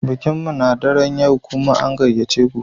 Bikin mu na daren yau, kuma an gayyace ku